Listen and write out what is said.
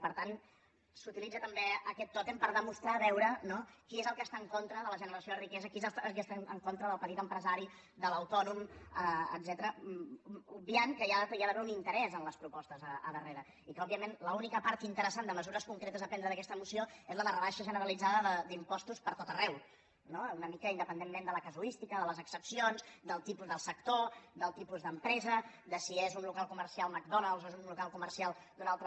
per tant s’utilitza també aquest tòtem per demostrar veure qui és el que està en contra de la generació de riquesa qui és qui està en contra del petit empresari de l’autònom etcètera obviant que hi ha d’haver un interès en les propostes al darrere i que òbviament l’única part interessant de mesures concretes a prendre d’aquesta moció és la de rebaixa generalitzada d’impostos per tot arreu no una mica independentment de la casuística de les excepcions del tipus del sector del tipus d’empresa de si és un local comercial mcdonald’s o és un local comercial d’un altre